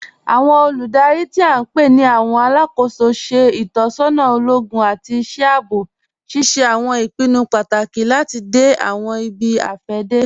Awọn olúdárí tí a npe ni awọn alákó̩sọ ṣẹ̀ itọsọna ologun àti iṣẹ̀ àabọ̀, ṣíṣẹ̀ awọn ìpìnnú pátákì láti dẹ̀ awọn ìbí-afẹdẹ.